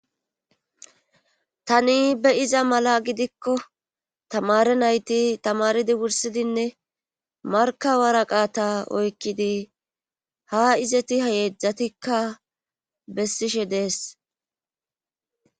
tani be iza mala gidikko tamare nayti tamaridi wursidinne markawara qaata oykkidi ha izeti hayeejdzatikka bessishe dees